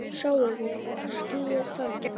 Sjáiði skýið þarna?